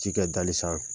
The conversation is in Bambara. Ji kɛ dali sanfɛ